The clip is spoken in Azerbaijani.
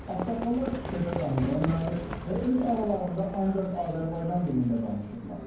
Ağsaqqallar küçədə domino oynayır və öz aralarında ancaq Azərbaycan dilində danışırlar.